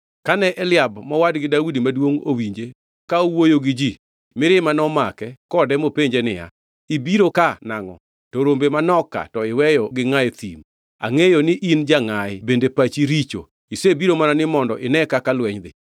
Kane Eliab mowadgi Daudi maduongʼ, owinje ka owuoyo gi ji, mirima nomake kode mopenje niya, “Ibiro ka nangʼo? To rombe manok ka to iweyo gi ngʼa e thim? Angʼeyo ni in jangʼayi bende pachi richo, isebiro mana ni mondo ine kaka lweny dhi.”